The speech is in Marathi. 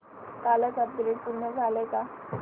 कालचं अपग्रेड पूर्ण झालंय का